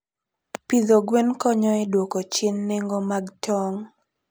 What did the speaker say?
Pidho gwen konyo e dwoko chien nengo mag tong'.